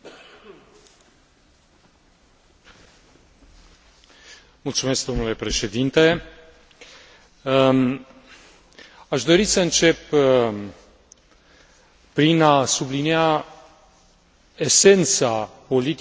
Aș dori să încep prin a sublinia esența politicii de multilingvism pe care am dorit să o promovăm în această perioadă. Ne am dorit ca, pe de o parte,